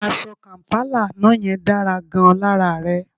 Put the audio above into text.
Aṣọ kàm̀pálà àná yẹn dára gan-an lára rẹ